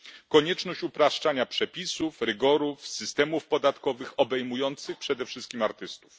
Konieczność upraszczania przepisów, rygorów, systemów podatkowych obejmujących przede wszystkim artystów.